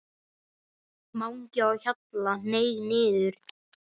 MANGI Á HJALLA, hneig niður.